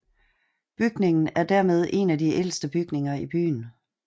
Bygningen er dermed en af de ældste bygninger i byen